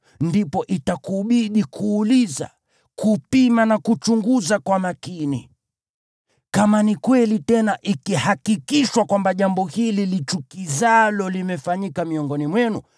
ndipo itakubidi kuuliza, kupima na kuchunguza kwa makini. Kama ni kweli, tena ikihakikishwa kwamba jambo hili lichukizalo limefanyika miongoni mwenu,